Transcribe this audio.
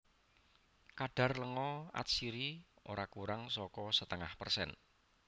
Kadhar lenga atsiri ora kurang saka setengah persen